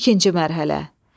İkinci mərhələ.